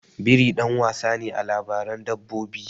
Biri ɗan wasa ne a labaran dabbobi.